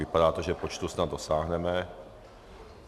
Vypadá to, že počtu snad dosáhneme.